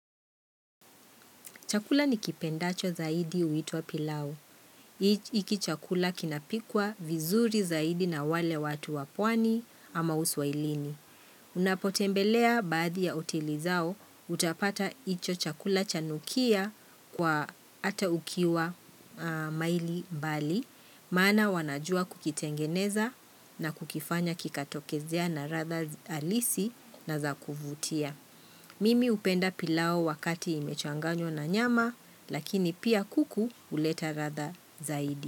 Chakula ni kipendacho zaidi huitwa pilau. Hiki chakula kinapikwa vizuri zaidi na wale watu wapwani ama uswahilini. Unapotembelea baadhi ya hoteli zao, utapata hicho chakula chanukia kwa ata ukiwa maili mbali. Maana wanajua kukitengeneza na kukifanya kikatokezea na radha halisi na zakuvutia. Mimi hupenda pilau wakati imechanganywa na nyama lakini pia kuku huleta radha zaidi.